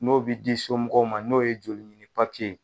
N'o bi di somɔgɔw ma n'o ye joli ɲini ye.